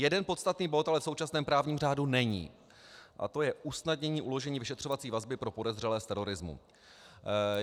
Jeden podstatný bod ale v současném právním řádu není a to je usnadnění uložení vyšetřovací vazby pro podezřelé z terorismu.